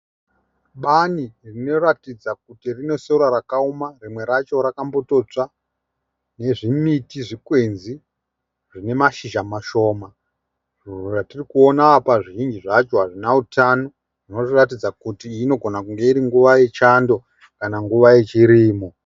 Bani rinoratidza kuti rine sora rakaoma rimwe racho rakatombotsva nezviti zvikwenzi zvine mashizha mashoma. Zvatiri kuona apa zvizhinji zvacho hazvina utano zvinoratidza kuti inogona kunge iri nguva yechando kana nguva yechirimo.